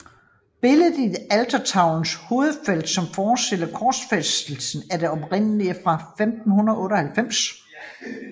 Billedet i altertavelens hovedfelt som forestiller korsfæstelsen er det oprindelige fra 1598